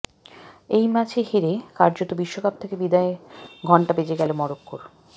এই ম্যাচে হেরে কার্যত বিশ্বকাপ থেকে বিদায়ের ঘন্টা বেজে গেল মরক্কোর